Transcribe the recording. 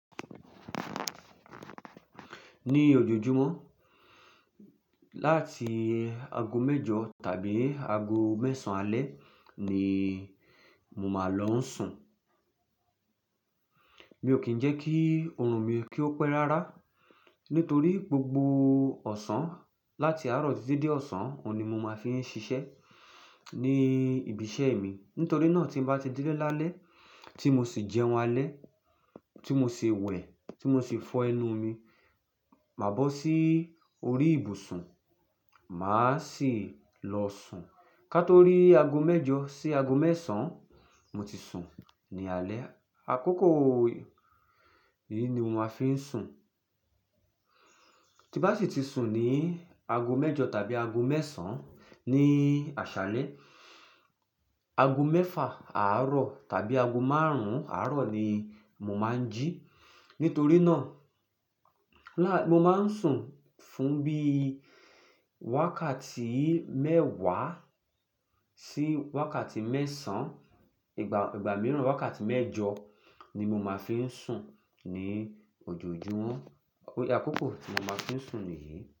Ní ojoojúmọ́ láti ago mẹ́jọ tàbí ago mẹ́sàn-án alẹ́ ni mo máa ń lọ sùn. Mi ò kí ń jẹ́ kí ọrùn mi kí ó pẹ́ rárá nítorí gbogbo ọ̀sán láti àárọ̀ títí dé ọ̀sán ni mo máa fi ń ṣiṣẹ́ ní ibi iṣẹ́ mi. Nítorí náà tí bá ti dele laale tí mo sì jẹun alẹ́, tí mo sì wẹ̀, tí mo sì fọ ẹnu mi, máa bọ́ sí orí ìbùsùn, màá sì lọ sùn. Kátó rí ago mẹ́jọ sí ago mẹ́sàn-án, mo ti sùn ní alẹ́. Àkókò yìí ni mo máa fi ń sùn. Tí bá sì ti sùn ní ago mẹ́jọ tàbí ago mẹ́sàn-án ní àṣálẹ́, ago mẹ́fà àárọ̀ tàbí ago márùn-ún àárọ̀ ni mo máa ń jí. Nítorí náà, mo máa ń sùn fún bí wákàtí mẹ́wàá sí wákàtí mẹ́sàn-án. Ìgbà mìíràn wákàtí mẹ́jọ ni mo máa fi ń sùn ní ojoojúmọ́. Tori àkókò tí mo máa fi ń sùn nìyí.